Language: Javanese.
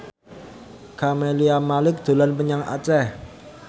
Camelia Malik dolan menyang Aceh